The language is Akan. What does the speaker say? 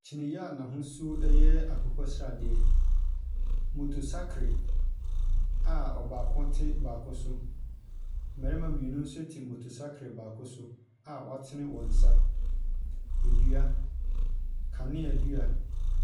Kyiniiɛ a n'ahosuo yɛ akokɔ sradeɛ. Moto sakre a ɔbaako te baako so. Mmarima mmienu nso te moto sakre baako a watene wɔn nsa. Dua, kanea dua.